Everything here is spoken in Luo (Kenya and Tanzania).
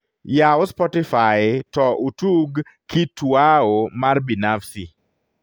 yaw spotify to utug kituao mar binafsi